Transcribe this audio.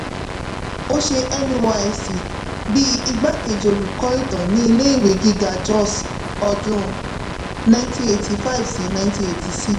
ó ṣe nysc bí igbakeji olùkọ́ ìtàn ni ilé ìwé gíga jos ọdún ninety eight five si ninety eigty six